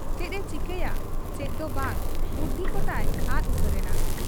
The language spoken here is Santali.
ᱪᱮᱫ ᱮ ᱪᱤᱠᱟᱹᱭᱟ ᱪᱮᱫ ᱫᱚ ᱵᱟᱝ, ᱵᱩᱫᱷᱤ ᱠᱚᱛᱟᱭ ᱟᱫ ᱩᱛᱟᱹᱨᱮᱱᱟ ᱾